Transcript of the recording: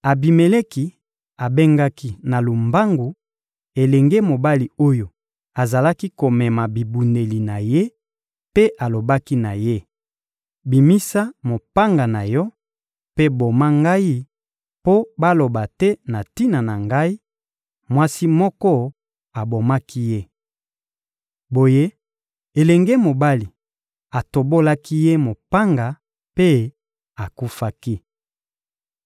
Abimeleki abengaki na lombangu elenge mobali oyo azalaki komema bibundeli na ye mpe alobaki na ye: «Bimisa mopanga na yo mpe boma ngai mpo baloba te na tina na ngai: ‹Mwasi moko abomaki ye.›» Boye, elenge mobali atobolaki ye mopanga mpe akufaki.